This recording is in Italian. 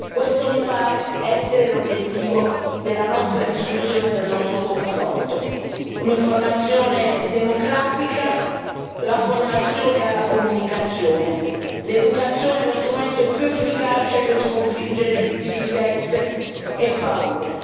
Questo mi pare essere l'obiettivo della nostra discussione e del nostro confronto. Un'informazione democratica, la formazione alla comunicazione l'educazione è lo strumento più efficace per sconfiggere diffidenze e paure.